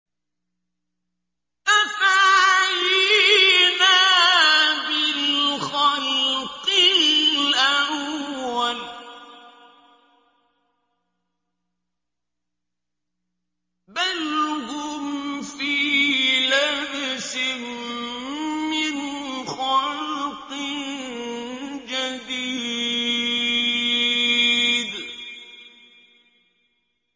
أَفَعَيِينَا بِالْخَلْقِ الْأَوَّلِ ۚ بَلْ هُمْ فِي لَبْسٍ مِّنْ خَلْقٍ جَدِيدٍ